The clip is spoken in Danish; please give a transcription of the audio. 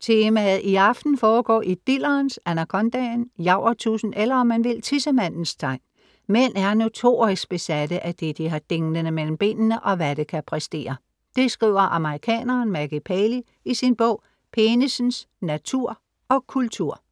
Temaet i aften foregår i dillerens, anakondaen, javertusen, eller om man vil, tissemandens tegn "Mænd er notorisk besatte af det, de har dinglende mellem benene, og hvad det kan præstere...." . Det skriver amerikaneren Maggie Paley i sin bog 'Penisens natur og kultur'